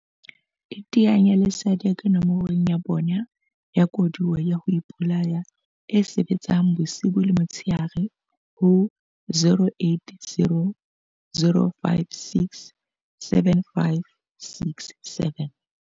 iteanye le SADAG nomorong ya bona ya koduwa ya ho ipolaya e sebetsang bosiu le motshehare ho 0800 567 567.